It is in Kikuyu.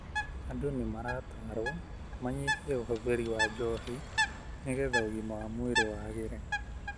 Andũ nĩ maratarũo manyihie ũhũthĩri wa njohi nigetha ũgima wa mwirĩ wagĩre